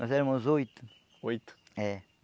Nós éramos oito. Oito? É.